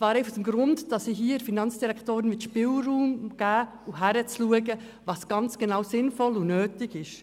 Dies aus dem Grund, dass ich der Finanzdirektorin Spielraum geben möchte, damit sie prüfen kann, was sinnvoll und nötig ist.